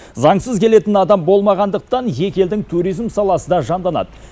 заңсыз келетін адам болмағандықтан екі елдің туризм саласы да жанданады